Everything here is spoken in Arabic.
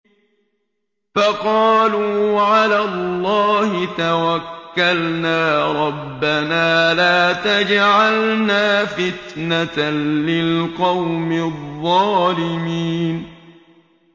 فَقَالُوا عَلَى اللَّهِ تَوَكَّلْنَا رَبَّنَا لَا تَجْعَلْنَا فِتْنَةً لِّلْقَوْمِ الظَّالِمِينَ